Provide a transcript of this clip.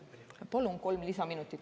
Palun kolm lisaminutit.